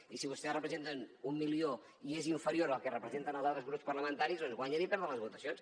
i si vostès en representen un milió i és inferior al que representen els altres grups parlamentaris guanyen i perden les votacions